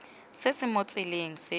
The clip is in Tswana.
se se mo tseleng se